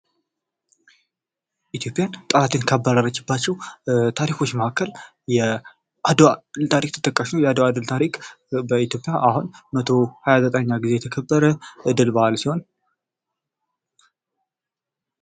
ኢትዮጵያ ጠላትን ካባረችባቸው ታሪኮች መካከል የአድዋ ድል ታሪክ ተጠቃሽ ነው የአድዋ ድል በኢትዮጵያ አሁን መቶ ሃያ ዘጠነኛ ጊዜ የተከበረ የድል በዓል ሲሆን ።